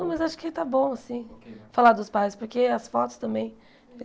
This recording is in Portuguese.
Não, mas acho que está bom, assim, falar dos pais, porque as fotos também.